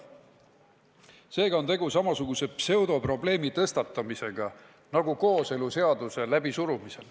Seega on tegu samasuguse pseudoprobleemi tõstatamisega nagu kooseluseaduse läbisurumisel.